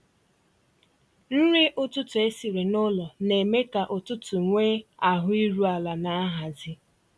Nrí ụ̀tụtụ̀ ésìrí n'ụ́lọ̀ ná-èmé kà ụ̀tụtụ̀ nwéé ahụ̀ írù àlà ná nhàzị́.